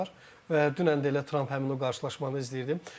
və dünən də elə Trump həmin o qarşılaşmanı izləyib.